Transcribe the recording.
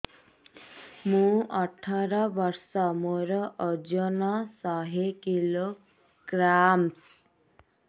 ମୁଁ ଅଠର ବର୍ଷ ମୋର ଓଜନ ଶହ କିଲୋଗ୍ରାମସ